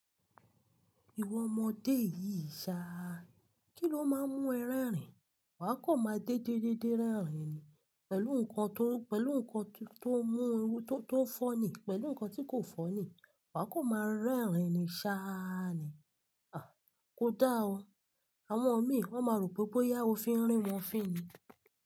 Ìwọ ọmọdé yìí ṣá, kí ló máa ń mú ẹ rẹ́rìn-ín? Wà á kan máa dédé dédé rẹ́rìn-ín ni pẹ̀lú nǹkan tó, pẹ̀lú nǹkan tó mú, tó fọ́ni, pẹ̀lú nǹkan tí kò fọ́ni. Wà á kan máa rẹ́rìn-ín ni ṣáá ni. Kò dáa o, àwọn mi, wọ́n máa rò pé bóyá o fi ń rín wọn fín ni.